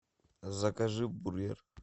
закажи бургер